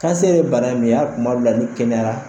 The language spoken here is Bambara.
Kansɛri ye bana min ye, hali tuma minna n'i kɛnɛyara